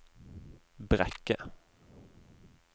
Brekke